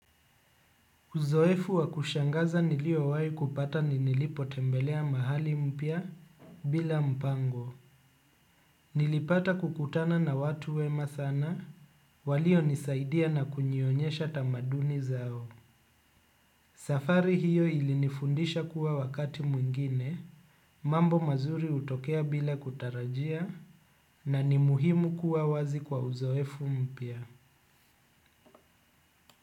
Uzoefu wakushangaza niliowai kupata ninilipo tembelea mahali mpya bila mpango. Nilipata kukutana na watu wema sana walio nisaidia na kunyionyesha tamaduni zao. Safari hiyo ilinifundisha kuwa wakati mwingine mambo mazuri utokea bila kutarajia na ni muhimu kuwa wazi kwa uzoefu mpya.